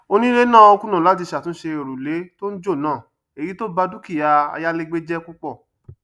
onílé náà kùnà láti ṣàtúnṣe òrùlé tó ń jò náà èyí tó bá dúkìá ayálégbé jẹ púpọ